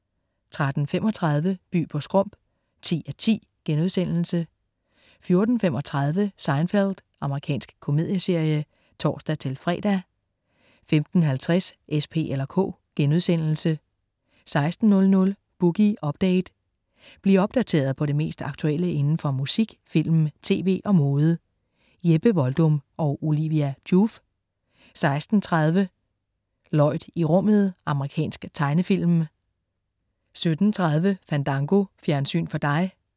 13.35 By på Skrump 10:10* 14.35 Seinfeld. Amerikansk komedieserie (tors-fre) 15.50 S, P eller K* 16.00 Boogie Update. Bliv opdateret på det mest aktuelle inden for musik, film, tv og mode. Jeppe Voldum og Olivia Joof 16.30 Lloyd i rummet. Amerikansk tegnefilm 17.30 Fandango. Fjernsyn for dig